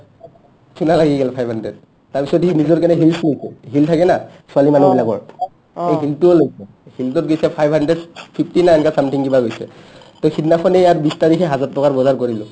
চুণা লাগি গেল five hundred তাৰপিছত সি নিজৰ কাৰণে heels নিকে heel থাকে ন ছোৱালী মানুহবিলাকৰ heel টো হ'ল heel টোত গেইছি five hundred fifty nine ka something কিবা গৈছে সাহ্ to সিদনাখনে ইয়াত বিশ তাৰিখে ইয়াত হাজাৰ টকাৰ বজাৰ কৰিলো